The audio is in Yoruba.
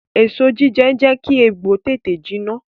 Èso jíjẹ n jẹ́ kí egbò tètè jiná